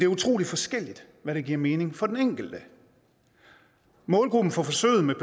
utrolig forskelligt hvad der giver mening for den enkelte målgruppen for forsøget med